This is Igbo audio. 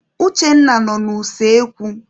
Uchenna nọ n'useekwu.